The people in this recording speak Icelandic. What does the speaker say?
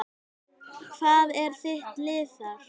Hvað er þitt lið þar?